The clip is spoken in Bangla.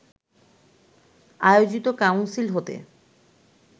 আয়োজিত কাউন্সিল হতে